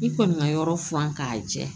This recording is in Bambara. I kɔni ka yɔrɔ furan k'a jɛ